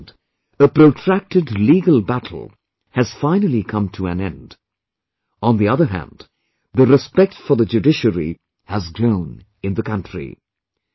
On the one hand, a protracted legal battle has finally come to an end, on the other hand, the respect for the judiciary has grown in the country